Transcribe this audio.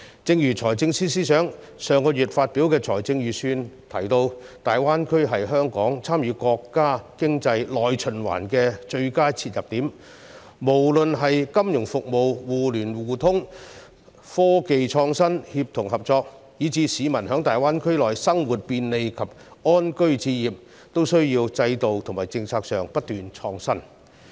正如財政司司長上月發表的財政預算案提到，大灣區是香港參與國家經濟內循環的最佳切入點，無論是金融服務、互聯互通、科技創新、協同合作，以至是市民在大灣區內生活便利及安居置業，均需要在制度和政策上不斷創新。